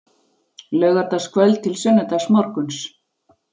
Laugardagskvöld til sunnudagsmorguns